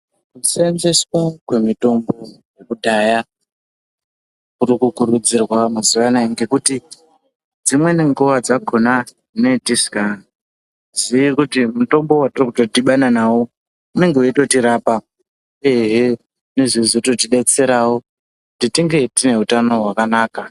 Kuseenzeswa kwemitombo yekudhaya kuri kurudzirwa mazuwa anaya ngekuti dzimweni nguwa dzakhona tinenge tisikazii kuti mutombo wetiri kutodhibana nawo unenge weitotirapa, uyehe inozo totidetserawo kuti tinge tine utano hwakanaka.